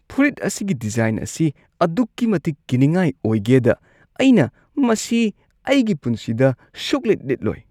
ꯐꯨꯔꯤꯠ ꯑꯁꯤꯒꯤ ꯗꯤꯖꯥꯏꯟ ꯑꯁꯤ ꯑꯗꯨꯛꯀꯤ ꯃꯇꯤꯛ ꯀꯤꯅꯤꯡꯉꯥꯏ ꯑꯣꯏꯒꯦꯗ ꯑꯩꯅ ꯃꯁꯤ ꯑꯩꯒꯤ ꯄꯨꯟꯁꯤꯗ ꯁꯨꯛꯂꯤꯠ-ꯂꯤꯠꯂꯣꯏ꯫